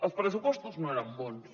els pressupostos no eren bons